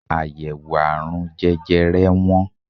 Àyèwò àrùn jẹjẹre wọ́n.